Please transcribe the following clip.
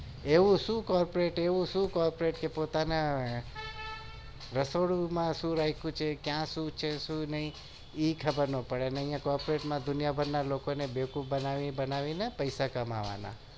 એવું શું corporate શું corporate કે પોતાના રસોડામાં શું રાખ્યું છે એ પણ ખબર નથી અને અહિયાં દુનિયાભર ના લોકો ને બનાવી ને પેસા કમાવાના